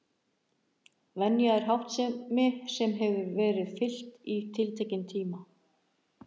Venja er háttsemi sem hefur verið fylgt í tiltekinn tíma.